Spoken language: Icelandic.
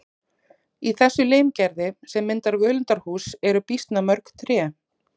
Í þessu limgerði sem myndar völundarhús eru býsna mörg tré.